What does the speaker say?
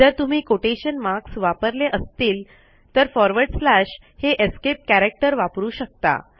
जर तुम्ही quotation marks वापरले असतील तर फॉरवर्ड स्लॅश हे एस्केप कॅरेक्टर वापरू शकता